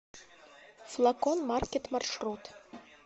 флакон маркет маршрут